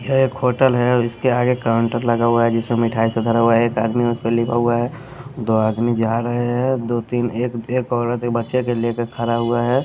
यह एक होटल है उसके आगे काउंटर लगा हुआ है जिसमें मिठाई सब धरा हुआ है एक आदमी उस पर लिखा हुआ है दो आदमी जा रहे हैं दो तीन एक औरत एक बच्चे के लेकर खड़ा हुआ हैं।